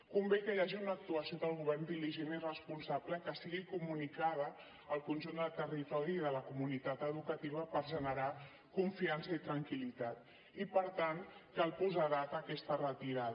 convé que hi hagi una actuació del govern diligent i responsable que sigui comunicada al conjunt del territori i de la comunitat educativa per generar confiança i tranquil·litat i per tant cal posar data a aquesta retirada